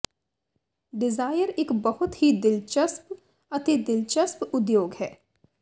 Dzire ਇੱਕ ਬਹੁਤ ਹੀ ਦਿਲਚਸਪ ਅਤੇ ਦਿਲਚਸਪ ਉਦਯੋਗ ਹੈ